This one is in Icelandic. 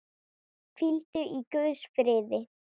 Hvíldu í Guðs friði.